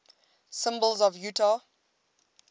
symbols of utah